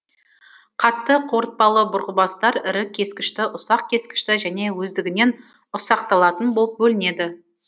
қатты қорытпалы бұрғыбастар ірі кескішті ұсақ кескішті және өздігінен ұсақталатын болып бөлінеді